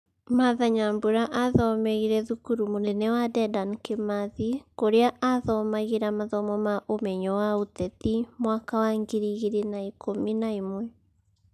martha nyambura athomeĩre thukuru mũnene wa Dedan Kimathi kũrĩa athomagira ,athomo ma umenyo wa uteti mwaka wa ngiri igĩrĩ na ikumi na ĩmwe